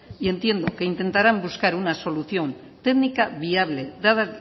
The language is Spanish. y entiendo que intentarán buscar una solución técnica viable dada